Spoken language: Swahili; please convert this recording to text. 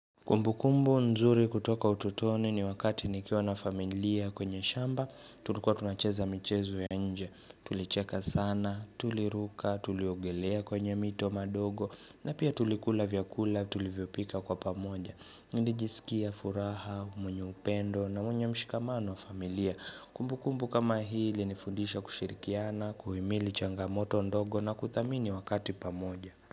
Kumbukumbu nzuri kutoka utotoni ni wakati nikiwa na familia kwenye shamba, tulikuwa tunacheza michezo ya nje, tulicheka sana, tuliruka, tuliogelea kwenye mito madogo, na pia tulikula vyakula tulivyopika kwa pamoja. Nilijisikia furaha, mwenye upendo na mwenye mshikamano wa familia. Kumbukumbu kama hili ilinifundisha kushirikiana, kuhimili changamoto ndogo na kudhamini wakati pamoja.